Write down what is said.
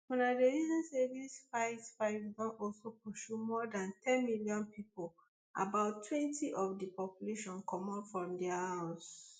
un dey reason say dis fight fight don also pursue more dan ten million pipo about twenty of di population comot from dia house